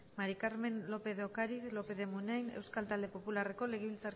maría del carmen lópez de ocariz lópez de munain euskal talde popularreko